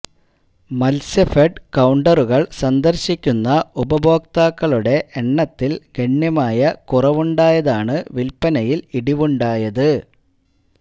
മത്സ്യഫെഡ് കൌണ്ടറുകൾ സന്ദർശിക്കുന്ന ഉപഭോക്താക്കളുടെ എണ്ണത്തിൽ ഗണ്യമായ കുറവുണ്ടായതാണ് വിൽപ്പനയിൽ ഇടിവുണ്ടായത്